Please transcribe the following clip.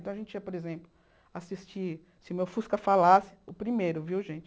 Então a gente ia, por exemplo, assistir, se o meu fusca falasse, o primeiro, viu gente?